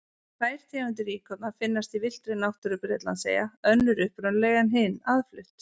Tvær tegundir íkorna finnast í villtri náttúru Bretlandseyja, önnur upprunaleg en hin aðflutt.